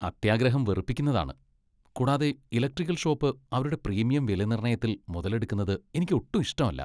അത്യാഗ്രഹം വെറുപ്പിക്കുന്നതാണ് , കൂടാതെ ഇലക്ട്രിക്കൽ ഷോപ്പ് അവരുടെ പ്രീമിയം വിലനിർണ്ണയത്തിൽ മുതലെടുക്കുന്നത് എനിക്കൊട്ടും ഇഷ്ടമല്ല.